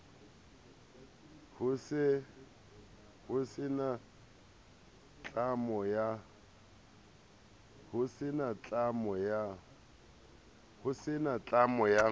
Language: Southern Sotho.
ho se na tlamo ya